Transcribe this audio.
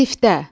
Sifdə.